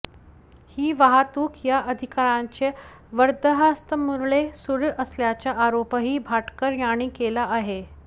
ही वाहतूक या अधिकाऱयांच्या वरदहस्तामुळेच सुरू असल्याचा आरोपही भाटकर यांनी केला आहे